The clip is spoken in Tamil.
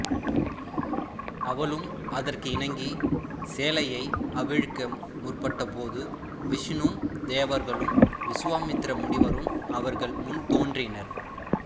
அவளும் அதற்கு இணங்கிச் சேலையை அவிழ்க்க முற்பட்டபோது விஷ்ணுவும் தேவர்களும் விசுவாமித்திர முனிவரும் அவர்கள் முன் தோன்றினர்